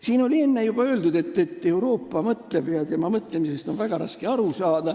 Siin on juba enne öeldud, et Euroopa mõtleb, aga tema mõtlemisest on väga raske aru saada.